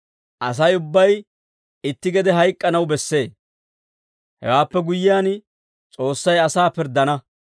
Asay ubbay itti gede hayk'k'anaw bessee; hewaappe guyyiyaan S'oossay asaa pirddana.